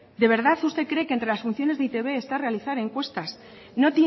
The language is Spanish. de verdad usted cree que entre las funciones de e i te be está realizar encuestas no